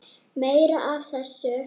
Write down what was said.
Meira af þessu!